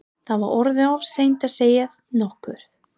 Það var orðið of seint að segja nokkuð.